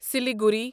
Siliguri